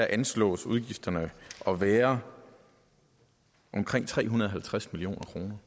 anslås udgifterne at være omkring tre hundrede og halvtreds million kroner